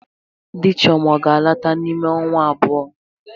Di Chioma ọ ga-alọta n'ime ọnwa abụọ?